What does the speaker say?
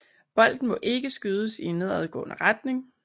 Bolden må ikke skydes i en nedadgående retning